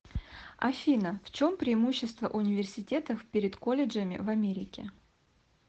афина в чем преимущество университетов перед колледжами в америке